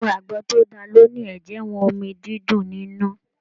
Gbogbo àgbọn tó dáa ló ní ẹjẹwọn omí dídùn nínú.